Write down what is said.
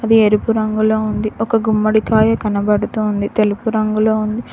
అది ఎరుపు రంగులో ఉంది ఒక గుమ్మడికాయ కనబడుతోంది తెలుపు రంగులో ఉంది.